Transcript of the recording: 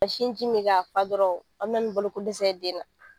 Ka sinji min k'a fa dɔrɔn a bɛna ni balokodɛsɛ ye den na.